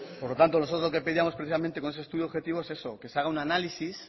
por lo tanto nosotros lo que pedíamos precisamente con ese estudio objetivo es eso que se haga un análisis